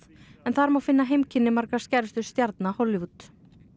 þar má finna heimkynni margra skærustu stjarna Hollywood sementsflutningaskipinu